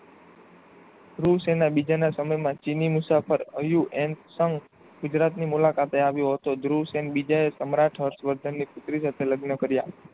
દેવસેના બીજાના સમય માં ચીની મુસાફર અયુ એમ સંઘ ગુજરાત ની મુલાકાતે આવ્યો હતો. ધ્રુવસેનબીજા એ સમ્રાટ હર્ષવર્ધન ની પુત્રી સાથે લગ્ન કર્યા.